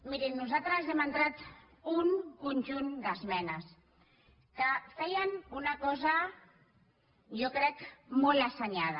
mirin nosaltres hem entrat un conjunt d’esmenes que feien una cosa jo crec molt assenyada